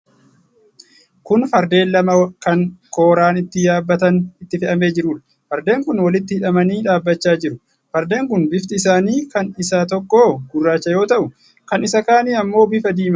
Kun fardeen lama kan kooran ittiin yaabbatan itti fe'amee jiruudha. Fardeen kun walitti hidhamanii dhaabbachaa jiru. Fardeen kun bifti isaanii, kan isa tokkoo gurraacha yoo ta'u, kan isa kaanii ammoo bifa diimaadha.